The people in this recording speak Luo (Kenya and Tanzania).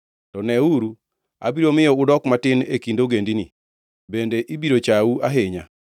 “To neuru, abiro miyo udok matin e kind ogendini, bende ibiro chau ahinya.